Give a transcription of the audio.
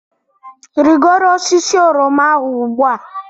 Rigoro osisi oroma ahụ ugbu a!